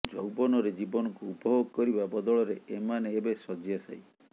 ଯୌବନରେ ଜୀବନକୁ ଉପଭୋଗ କରିବା ବଦଳରେ ଏମାନେ ଏବେ ଶଯ୍ୟାଶାୟୀ